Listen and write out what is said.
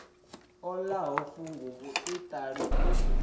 o ḽaho funguvhu iṱeli u